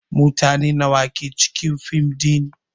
Mutane nawa ke cikin fim din?